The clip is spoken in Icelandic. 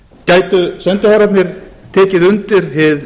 gætu sendiherrarnir tekið undir hið